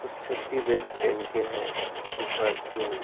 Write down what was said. और safety belt पहन के हैं ऊपर जो--